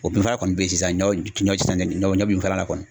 O binfagalan kɔni bɛ yen sisan, ɲɔ ɲɔ tɛ sanni ɲɔ binfagalan kɔni.